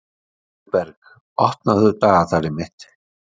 Guðberg, opnaðu dagatalið mitt.